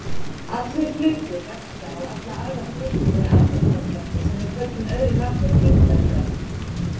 Allir hlutir verka á alla aðra hluti með aðdráttarkrafti sem við köllum öðru nafni þyngdarkraft.